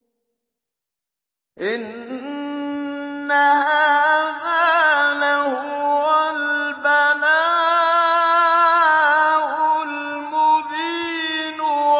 إِنَّ هَٰذَا لَهُوَ الْبَلَاءُ الْمُبِينُ